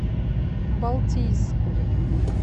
балтийску